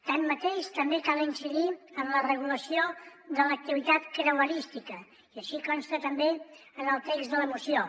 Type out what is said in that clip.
així mateix també cal incidir en la regulació de l’activitat creuerística i així consta també en el text de la moció